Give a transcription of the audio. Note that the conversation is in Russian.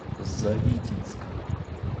завитинска